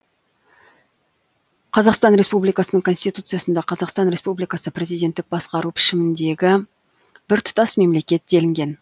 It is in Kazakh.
қазақстан республикасының конституциясында қазақстан республикасы президенттік басқару пішіміндегі біртұтас мемлекет делінген